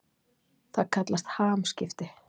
Það kallast hamskipti.